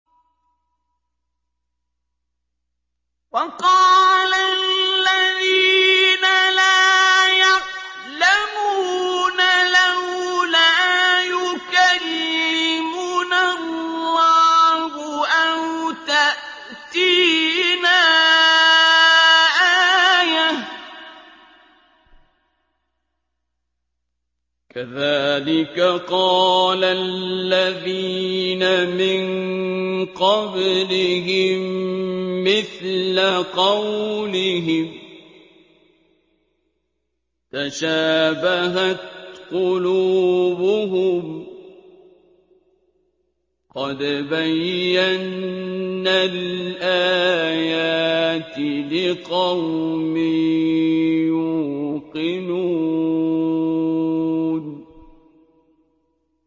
وَقَالَ الَّذِينَ لَا يَعْلَمُونَ لَوْلَا يُكَلِّمُنَا اللَّهُ أَوْ تَأْتِينَا آيَةٌ ۗ كَذَٰلِكَ قَالَ الَّذِينَ مِن قَبْلِهِم مِّثْلَ قَوْلِهِمْ ۘ تَشَابَهَتْ قُلُوبُهُمْ ۗ قَدْ بَيَّنَّا الْآيَاتِ لِقَوْمٍ يُوقِنُونَ